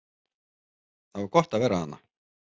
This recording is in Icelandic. Það var gott að vera þarna.